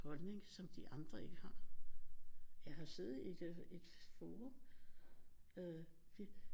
Holdning som de andre ikke har jeg har siddet i fora